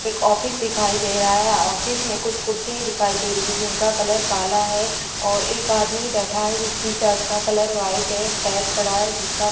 एक ऑफिस दिखाई दे रहा है ऑफिस में कुछ कुर्सियां दिखाई दे रही है जिनका कलर काला है और एक आदमी बैठा है जिसकी शर्ट का कलर व्हाइट है एक बैग पड़ा है जिसका --